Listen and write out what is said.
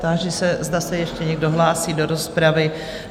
Táži se, zda se ještě někdo hlásí do rozpravy?